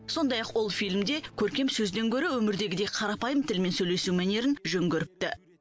сондай ақ ол фильмде көркем сөзден гөрі өмірдегідей қарапайым тілмен сөйлесу мәнерін жөн көріпті